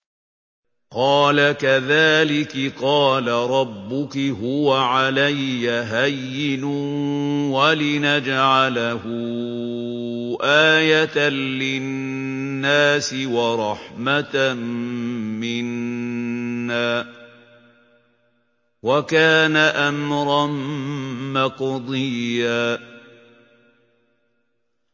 قَالَ كَذَٰلِكِ قَالَ رَبُّكِ هُوَ عَلَيَّ هَيِّنٌ ۖ وَلِنَجْعَلَهُ آيَةً لِّلنَّاسِ وَرَحْمَةً مِّنَّا ۚ وَكَانَ أَمْرًا مَّقْضِيًّا